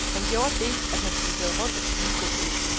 Han gjorde det, at han spadserede rundt og spiste et æble.